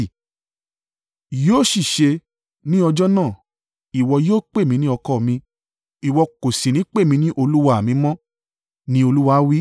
“Yóò sì ṣe ní ọjọ́ náà, ìwọ yóò pè mí ní ‘ọkọ mi’; ìwọ kò sì ní pè mí ní ‘olúwa à mi mọ́,’ ni Olúwa wí.